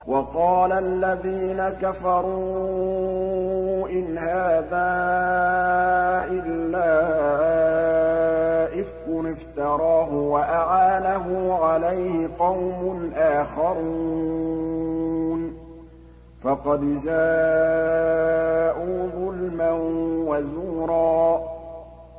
وَقَالَ الَّذِينَ كَفَرُوا إِنْ هَٰذَا إِلَّا إِفْكٌ افْتَرَاهُ وَأَعَانَهُ عَلَيْهِ قَوْمٌ آخَرُونَ ۖ فَقَدْ جَاءُوا ظُلْمًا وَزُورًا